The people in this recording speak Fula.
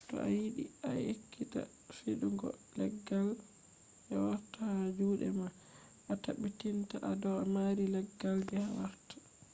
to a yiɗi a ekkita fiɗugo leggal je wartata ha juɗe ma a tabbitina a do mari leggal je wartata